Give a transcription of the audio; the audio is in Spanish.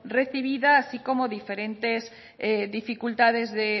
recibida así como diferentes dificultades de